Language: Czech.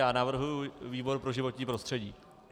Já navrhuji výbor pro životní prostředí.